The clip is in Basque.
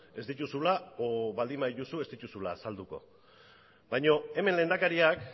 ez dituzula edo baldin badituzu ez dituzula azalduko baina hemen lehendakariak